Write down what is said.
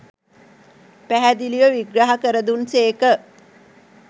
පැහැදිලිව විග්‍රහ කර දුන් සේක